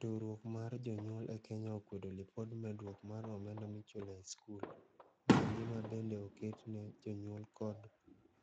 Riwruok mar jonyuol e Kenya okwedo lipod medruok mar omenda michulo e skul. Maendi mabende oket ne jonyuol kdo